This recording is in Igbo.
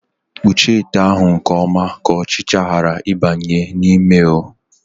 Kpuchie ite ahụ nke ọma ka ọchịcha ghara ịbanye ya n'ime oo!